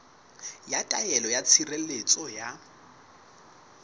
ya taelo ya tshireletso ya